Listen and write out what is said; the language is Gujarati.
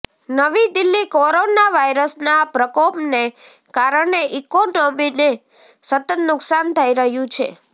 નવી દિલ્હીઃ કોરોના વાયરસના પ્રકોપને કારણે ઇકોનોમીને સતત નુકસાન થઈ રહ્યું છે